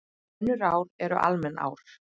Önnur ár eru almenn ár.